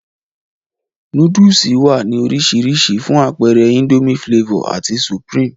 Nóódùsì wá ní orisirisi, fún apeere Indomie Flavor ati supreme